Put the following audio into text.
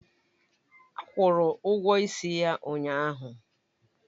Akwụru ụgwọ ịsị ya ụnyahụ.